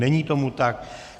Není tomu tak.